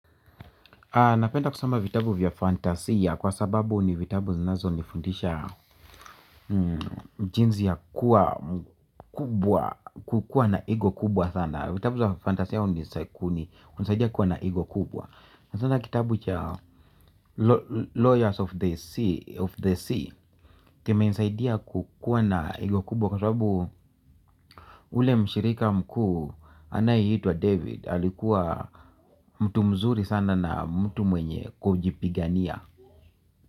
Napenda kusoma vitabu vya fantasia kwa sababu ni vitabu zinazonifundisha jinsi ya kuwa mkubwa, kukuwa na ego kubwa sana. Vitabu za fantasia hunisaikuni, hunisaidia kuwa na ego kubwa. Sana sana kitabu cha Lawyers of the Sea kimenisaidia kukuwa na ego kubwa. Kwa sababu ule mshirika mkuu anayeitwa David alikuwa mtu mzuri sana na mtu mwenye kujipigania.